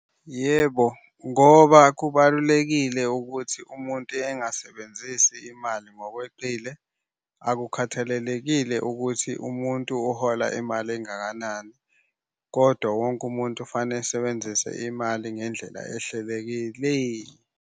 Yebo, ngoba kubalulekile ukuthi umuntu engasebenzisi imali ngokweqile akukhathalelekile ukuthi umuntu uhola imali engakanani kodwa wonke umuntu kufanele esebenzise imali ngendlela ehlelekile.